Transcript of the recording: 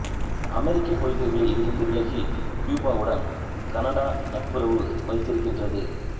அமெரிக்க கொள்கைகளில் இருந்து விலகி கியூபாவுடன் கனடா நட்புறவு வைத்திருக்கின்றது